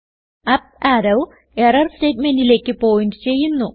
up arrow error സ്റ്റേറ്റ്മെന്റിലേക്ക് point ചെയ്യുന്നു